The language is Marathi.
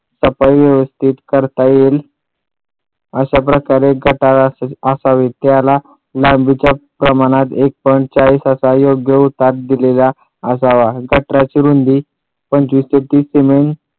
सफाई व्यवस्थित करता येईल अशा प्रकारे गटार आखावी त्याला लांबीच्या प्रमाणात एक point चाळीस असा योग्य उतार दिलेला असावा गटारांची रुंदी पंचवीस ते तीस सिमेंट